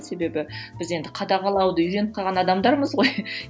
себебі біз енді қадағалауды үйреніп қалған адамдармыз ғой